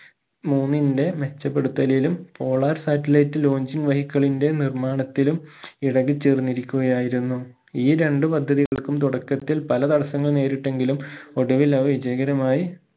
മൂന്നിന്റെ മെച്ചപ്പെടുത്തലിലും polar satellite launching vehicle ന്റെ നിർമ്മാണത്തിലും ഇടകിച്ചേർന്നിരിക്കുകയായിരുന്നു ഈ രണ്ട് പദ്ധതികൾക്കും തുടക്കത്തിൽ പല തടസ്സങ്ങൾ നേരിട്ടെങ്കിലും ഒടുവിൽ അവ വിജയകരമായി